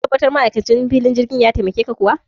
Ka tabbatar ma'aikacin filin jirgin ya taimake ka kuwa?